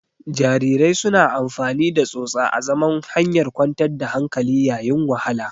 Jarirai suna amfani da tsotsa azaman hanyar kwantar da hankali yayin wahala.